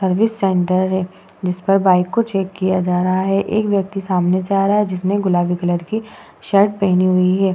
Service centre है जिसपे bike को चेक किया जा रहा है एक व्यक्ति सामने से आ रहा है जिसने गुलाबी कलर की शर्ट पहनी हुई है।